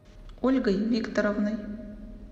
ольгой викторовной